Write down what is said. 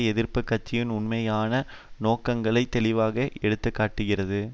எதிர்ப்பு கட்சியின் உண்மையான நோக்கங்களை தெளிவாக எடுத்துகாட்டுகிறது